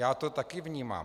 Já to taky vnímám.